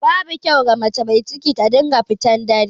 Babu kyau wa mace mai ciki ta dinga fitan dare.